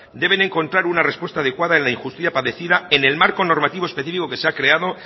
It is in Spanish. deben encontrar una respuesta adecuada en la injusticia padecida en el marco normativo específico que se ha creado